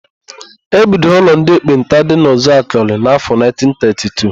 E bidoro ụlọ ndị ekpenta dị na Uzuakọlị n'áfọ̀ 1932.